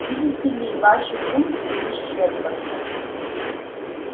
видите ли ваши функции исчерпаны